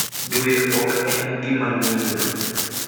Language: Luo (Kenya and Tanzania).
Dwe ok en gik ma ng’injo.